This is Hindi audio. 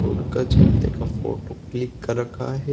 रोड का चलते का फोटो क्लिक कर रखा है।